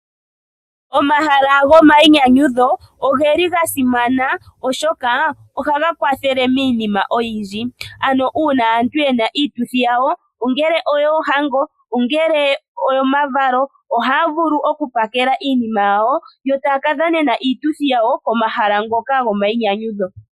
Omahala gomayinyanyudho oga simana, oshoka ohaga kwathele miinima oyindji. Uuna aantu ye na iituthi yawo, ngaashi yoohango nenge omavalo ohaya vulu okupakela iinima yawo yo taya ka dhanenena iituthi yawo komahala ngoka gomayinyanyudho.